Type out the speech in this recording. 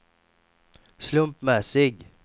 slumpmässig